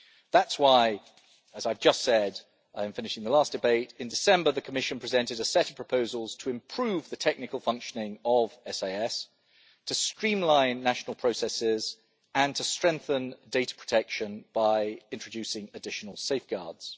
That is why, as I have just said in finishing the last debate, in December, the Commission presented a set of proposals to improve the technical functioning of SIS, to streamline national processes and to strengthen data protection by introducing additional safeguards.